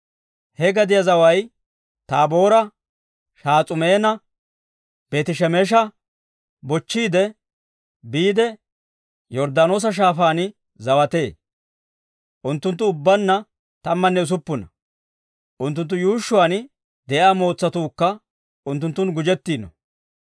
He gadiyaa zaway Taaboora, Shahas'uumanne Beeti-Shemesha bochchiide biide, Yorddaanoosa Shaafaan zawatee. Unttunttu ubbaanna tammanne usuppuna; unttunttu yuushshuwaan de'iyaa mootsatuukka unttunttun gujjettiino.